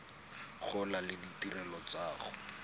gola le ditirelo tsa go